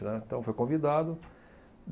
Né. Então, foi convidado.